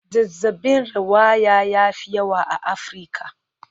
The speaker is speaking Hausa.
Zazzabin rawaya ya fi yawa a Afirka.